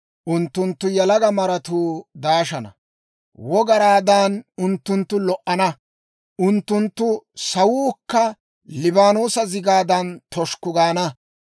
Unttunttu yalaga maratuu daashana; wogaraadan unttunttu lo"ana. Unttunttu sawuukka Liibaanoosa zigaadan toshukku gaana.